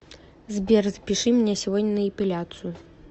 сбер запиши меня сегодня на эпиляцию